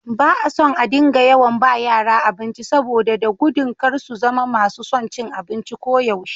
Ba a son a dinga yawan ba yara abinci, saboda da gudun kar su zama masu son cin abinci koyaushe.